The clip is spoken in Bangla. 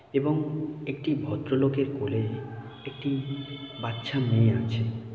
এবং একটি ভদ্র লোকের কোলে একটি বাচ্চা মেয়ে আছে।